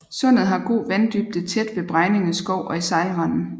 Sundet har god vanddybde tæt ved Bregninge Skov og i sejlrenden